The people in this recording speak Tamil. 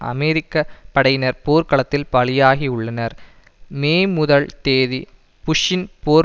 அமெரிக்க படையினர் போர்க்களத்தில் பலியாகியுள்ளனர் மே முதல் தேதி புஷ்ஷின் போர்